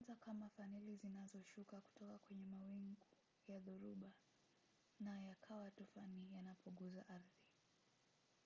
huanza kama faneli zinazoshuka kutoka kwenye mawingu ya dhoruba na yakawa tufani yanapogusa ardhi.